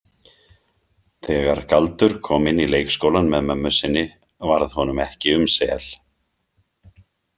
Þegar Galdur kom inn í leikskólann með mömmu sinni varð honum ekki um sel.